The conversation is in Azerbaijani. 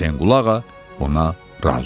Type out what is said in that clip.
Hüseynqulu ağa ona razı oldu.